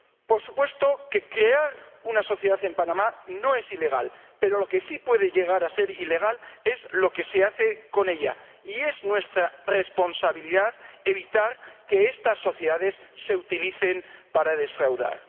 Por supuesto que crear una sociedad en Panamá no es ilegal, pero lo que sí puede llegar a ser ilegal es lo que se hace con ella, y es nuestra responsabilidad evitar que estas sociedades se utilicen para defraudar.